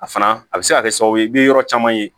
A fana a bɛ se ka kɛ sababu ye i bɛ yɔrɔ caman ye